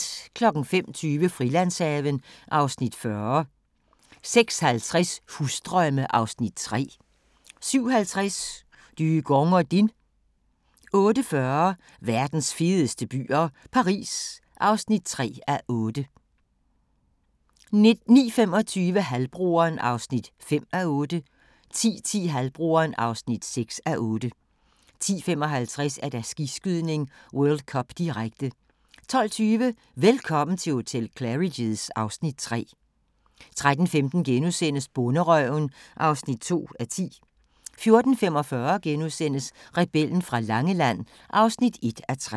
05:20: Frilandshaven (Afs. 40) 06:50: Husdrømme (Afs. 3) 07:50: Dygong og Din 08:40: Verdens fedeste byer - Paris (3:8) 09:25: Halvbroderen (5:8) 10:10: Halvbroderen (6:8) 10:55: Skiskydning: World Cup, direkte 12:20: Velkommen til hotel Claridge's (Afs. 3) 13:15: Bonderøven (2:10)* 14:45: Rebellen fra Langeland (1:3)*